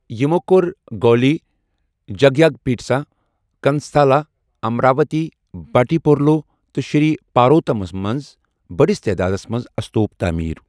یِمو کرو گولی، جگگیاہپیٹسا، گنستھالا، امراوتی بھٹیپرولو تہٕ شری پاروتم منٛز بٔڈِس تعدادس منٛز استوپ تعمیر ۔